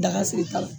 Daga segin t'a la